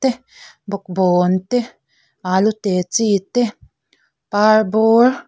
te bawkbawn te alu te chi te parbawr.